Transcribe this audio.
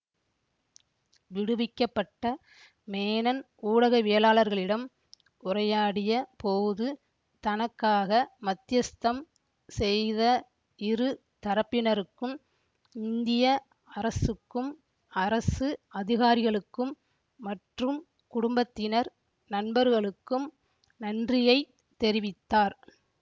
விடுவிக்கப்பட்ட மேனன் ஊடகவியலாளர்களிடம் உரையாடிய போது தனக்காக மத்தியஸ்தம் செய்த இரு தரப்பினருக்கும் இந்திய அரசுக்கும் அரசு அதிகாரிகளுக்கும் மற்றும் குடும்பத்தினர் நண்பர்களுக்கும் நன்றியை தெரிவித்தார்